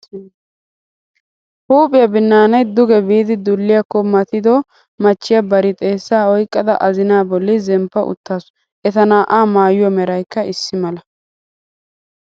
Huuphiya binnaanay duge biidi dulliyakko matido machchiya bari xeessaa oyqqada azinaa bolli zemppa uttaasu. Eta naa"aa maayuwa meraykka issi mala.